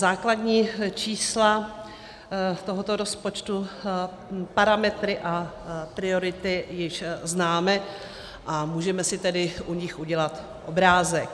Základní čísla tohoto rozpočtu, parametry a priority již známe, a můžeme si tedy u nich udělat obrázek.